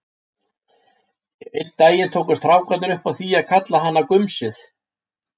Einn daginn tóku strákarnir upp á því að kalla hana gumsið.